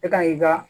E ka n'i ka